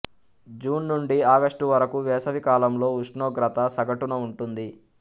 June నుండి August వరకు వేసవికాలంలో ఉష్ణోగ్రత సగటున ఉంటుంది